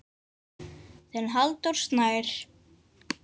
Þinn Halldór Snær.